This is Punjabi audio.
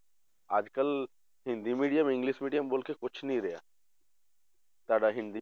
ਅੱਜ ਕੱਲ੍ਹ ਹਿੰਦੀ medium english medium ਮਤਲਬ ਕਿ ਕੁਛ ਨੀ ਰਿਹਾ ਸਾਡਾ ਹਿੰਦੀ